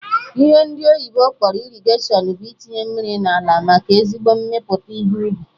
Ihe ndị oyibo kpọrọ irrigation bụ itinye mmiri n'ala, maka ezigbo mmepụta ihe ubi